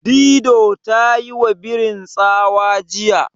Dido ta yiwa birin tsawa jiya.